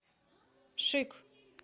шик